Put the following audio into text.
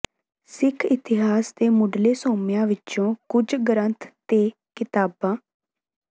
ਸਿੱਖ ਇਤਿਹਾਸ ਦੇ ਮੁੱਢਲੇ ਸੋਮਿਆਂ ਵਿਚੋਂ ਕੁੱਝ ਗ੍ਰੰਥ ਤੇ ਕਿਤਾਬਾਂ